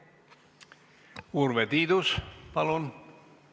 Urve Tiidus, palun!